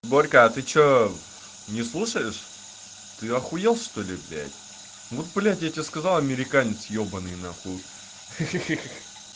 борька а ты что не слушаешь ты ахуел что ли блядь вот блядь я тебе сказал американец ёбаный нахуй ха-ха